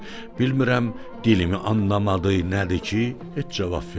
Bilmirəm dilimi anlamadı, nədir ki, heç cavab vermədi.